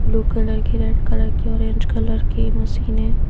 Blue colour की red colour की orange colour की मशीन है।